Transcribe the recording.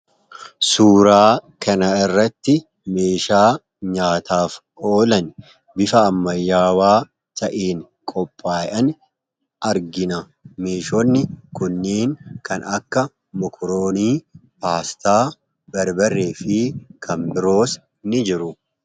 Suuraa kanarratti meeshaa nyaataaf oolan bifa ammayyaawaa ta'een qophaayan argina. Meeshaaleen kunneen kanneen akka mokoroonii, paastaa, barbarree fi kan biroos ni jiru.